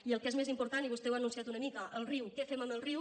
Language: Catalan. i el que és més important i vostè ho ha anunciat una mica el riu què fem amb el riu